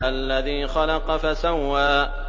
الَّذِي خَلَقَ فَسَوَّىٰ